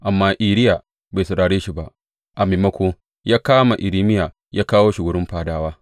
Amma Iriya bai saurare shi ba; a maimako, ya kama Irmiya ya kawo shi wurin fadawa.